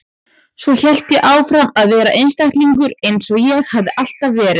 Svo hélt ég áfram að vera einstæðingur eins og ég hafði alltaf verið.